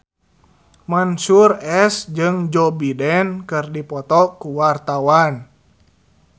Mansyur S jeung Joe Biden keur dipoto ku wartawan